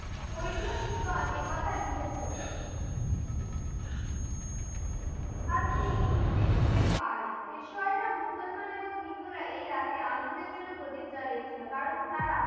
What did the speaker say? ঐতিহাসিকগণ এ কথা লিখেছেন। আর তিনি জিততে পাড়ে। পেশুয়ারা মুসলমান এবং হিন্দুরা এই রাতে আন্দের জন্য প্রদীপ জ্বেলেছিল। কারণ তারা